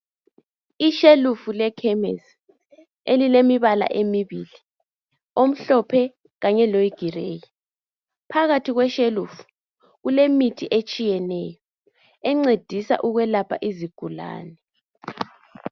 Ishelufu lekhemisi elilemibala emibili omhlophe kanye lowu gireyi phakathi kweshelufu kulemithi etshiyeneyo encedisa ukulapha izigulane.